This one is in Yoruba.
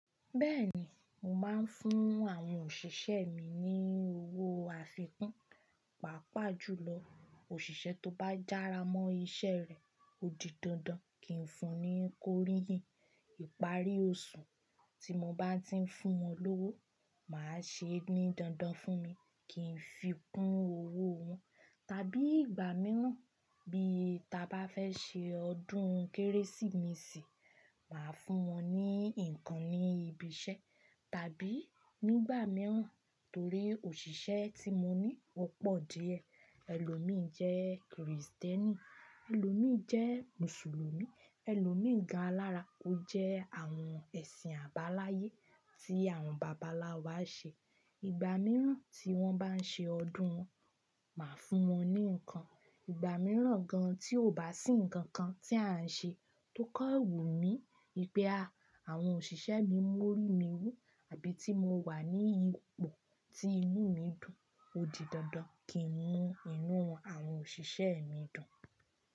Bẹ́ẹ̀ni, mò máa ń fún àwọn òṣìṣẹ́ mi ní owó àfikún, pàápàá jùlọ òṣìṣẹ́ tó bá jára mọ́ iṣẹ́ rẹ̀ ó di dandan kí n fún un ní kóríyìn. Ìparí oṣù tí mò bá ti ń fún wọn lówó, màá ṣeení dandan fún mi, kí n fi kún owó wọn. Tàbí ìgbà mìíràn bí ta bá fẹ́ ṣe ọdún Kérésìmesì, màá fún wọn ní ǹkan ní ibi iṣẹ́. Tàbí nígbà mìíràn torí òṣìṣẹ́ tí mo ní ọ́pọ̀ díẹ̀, ẹlòmíì jẹ́ Krìstẹ́nì, ẹlòmíì jẹ́ Mùsùlùmí, ẹlòmíì gan alára, ó jẹ́ àwọn ẹ̀sìn àbáláyé tí àwọn bàbá nlà wá ṣe. Ìgbà mìíràn tí wọ́n bá ń ṣe ọdún wọn, màá fún wọn ní ǹkan. Ìgbà mìíràn gan tí ò bá sí ǹkan kan tí à ń ṣe, ti ó kan wù mí, wipé àwọn òṣìṣẹ́ mi mú orí mi wú àbí tí mo wà ní ipò tí inú mi dùn ó di dandan kí n mú inú àwọn òṣìṣẹ́ mi dùn.